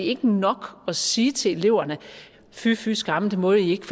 ikke nok at sige til eleverne fy fy skamme det må i ikke